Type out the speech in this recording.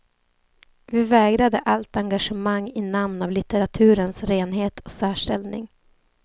Vi vägrade allt engagemang i namn av litteraturens renhet och särställning.